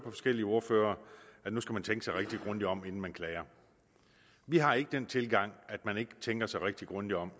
forskellige ordførere at nu skal man tænke sig rigtig grundigt om inden man klager vi har ikke den tilgang til at man ikke tænker sig rigtig grundigt om